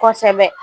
Kosɛbɛ